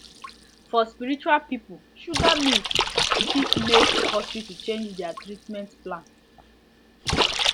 for spiritual people sugar myth fit make hospital change their treatment plan